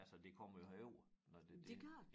Altså det kommer jo herover når det ikke